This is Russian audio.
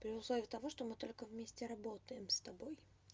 при условии того что мы только вместе работаем с тобой